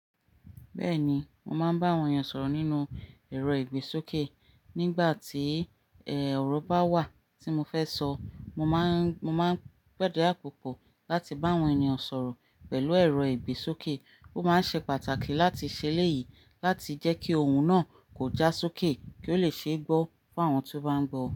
Bẹ́ẹ̀ni, mo máa ń bá àwọn ènyàn sọ̀rọ̀ nínú ẹ̀rọ ìgbésókè e. Nígbà tí, ẹ, ọ̀rọ̀ bá wà tí mo fẹ́ sọ, mo má ń, mo máa ń gbadua àpòpọ̀ láti bá àwọn ènìyàn sọ̀rọ̀ pẹ̀lú ẹ̀rọ ìgbésókè. Ó máa ń ṣe pàtàkì láti ṣe léyìí láti jẹ́ kí ohun náà kò já sókè kí ó lè ṣe é gbọ́ fún àwọn tó bá ń gbọ́ o.